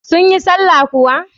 Sun yi sallah kuwa?